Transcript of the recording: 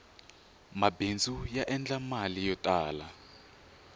mabindzu ya endla mali yo tala